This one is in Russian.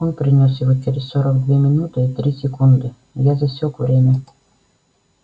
он принёс его через сорок две минуты и три секунды я засёк время